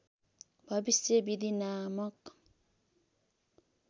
भविष्य विधि नामक